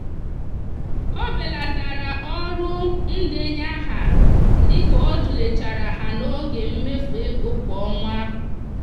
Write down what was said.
o belatara ọrụ ndenye aha dị ka ọ tụlechara ha n'oge mmefu ego kwa ọnwa.